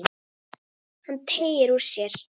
Hann teygir úr sér.